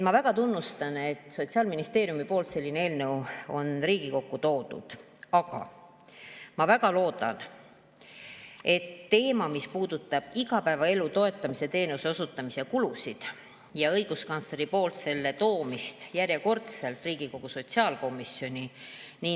Ma väga tunnustan, et Sotsiaalministeeriumist selline eelnõu on Riigikokku toodud, aga ma väga loodan, et, mis puudutab igapäevaelu toetamise teenuse osutamise kulusid ja õiguskantsleri poolt selle toomist järjekordselt Riigikogu sotsiaalkomisjoni.